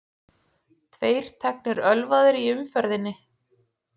Tveir teknir ölvaðir í umferðinni